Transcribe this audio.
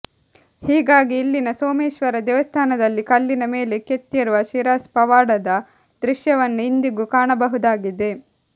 ಹೀಗಾಗಿ ಇಲ್ಲಿನ ಸೋಮೇಶ್ವರ ದೇವಸ್ಥಾನದಲ್ಲಿ ಕಲ್ಲಿನ ಮೇಲೆ ಕೆತ್ತಿರುವ ಶಿರಸ್ ಪವಾಡದ ದೃಶ್ಯವನ್ನು ಇಂದಿಗೂ ಕಾಣಬಹುದಾಗಿದೆ